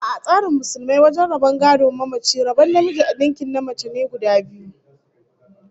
A'a, a tsarin Musulmai, wajen rabon gadon mamaci, rabon namiji ninkin na mace be guda biyu